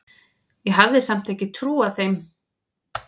Ég hafði samt ekki trúað þeim.